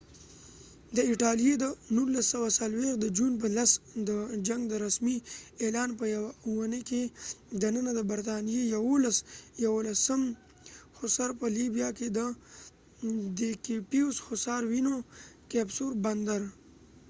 ، د ایټالیې د 1940 د جون په 10 د جنګ د رسمی اعلان په یوه اوونی کې دننه د برطانیې 11 یوولسم هوسر hussar په لیبیا کې ديکپوزو بندرcapuzzo fort ونیوه